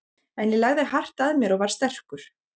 En ég lagði hart að mér og var sterkur.